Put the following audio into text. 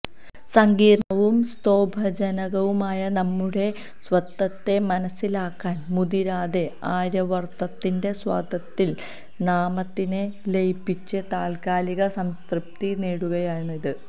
സങ്കീർണ്ണവും സ്തോഭജനകവുമായ നമ്മുടെ സ്വത്വത്തെ മനസ്സിലാക്കാൻ മുതിരാതെ ആര്യാവർത്തത്തിന്റെ സ്വത്വത്തിൽ നാമതിനെ ലയിപ്പിച്ച് താല്ക്കാലിക സംതൃപ്തി നേടുകയാണിന്ന്